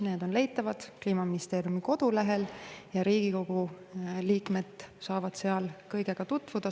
Need on leitavad Kliimaministeeriumi kodulehel ja Riigikogu liikmed saavad seal kõigega tutvuda.